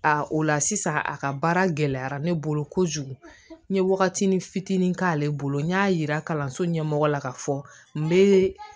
A o la sisan a ka baara gɛlɛyara ne bolo kojugu n ye wagatinin fitinin k'ale bolo n y'a yira kalanso ɲɛmɔgɔ la ka fɔ n bɛ